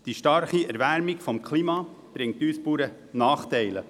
Die starke Erwärmung des Klimas bringt uns Bauern Nachteile.